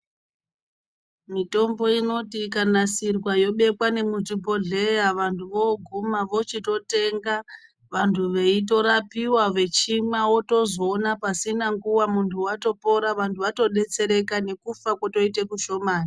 Mitombo inoti ikanasirwa yobekwa nemuzvibhodhleya vantu voguma vochitotenga vantu veitorapiwa vechimwa votozoona pasina nguwa muntu watopora nekufa kwoita kushomani